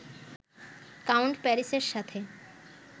count প্যারিসের সাথে